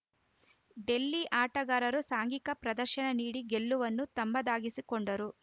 ಡೆಲ್ಲಿ ಆಟಗಾರರು ಸಾಂಘಿಕ ಪ್ರದರ್ಶನ ನೀಡಿ ಗೆಲುವನ್ನು ತಮ್ಮದಾಗಿಸಿಕೊಂಡರು